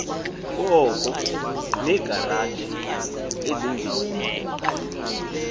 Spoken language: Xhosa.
koko uneegaraji ezimbini